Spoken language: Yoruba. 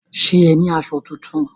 Ṣé o ní aṣọ tuntun?